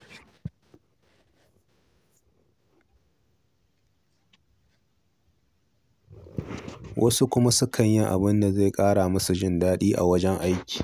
Wasu kuma sukan yi abin da zai ƙara musu jin daɗin a wajen yin ayyuka.